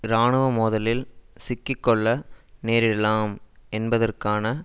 இராணுவ மோதலில் சிக்கி கொள்ள நேரிடலாம் என்பதற்கான